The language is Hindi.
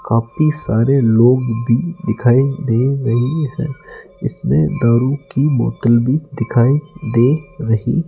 काफी सारे लोग भी दिखाई दे रहे हैं इसमें दारू की बोतल भी दिखाई दे रही--